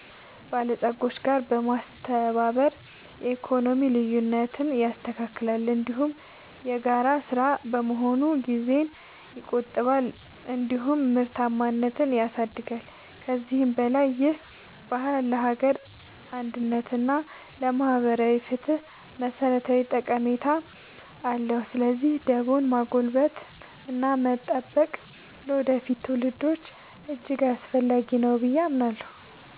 በለጾች ጋር በማስተባበር የኢኮኖሚ ልዩነትን ያስተካክላል፤ እንዲሁም የጋራ ሥራ በመሆኑ ጊዜን ይቆጥባል እንዲሁም ምርታማነትን ያሳድጋል። ከዚህም በላይ ይህ ባህል ለሀገር አንድነት እና ለማህበራዊ ፍትህ መሠረታዊ ጠቀሜታ አለው። ስለዚህ ደቦን ማጎልበትና መጠበቅ ለወደፊት ትውልዶች እጅግ አስፈላጊ ነው ብዬ አምናለሁ።